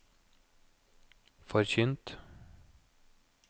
forkynt